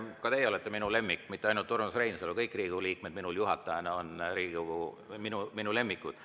Ka teie olete minu lemmik, mitte ainult Urmas Reinsalu, kõik Riigikogu liikmed on minu kui juhataja lemmikud.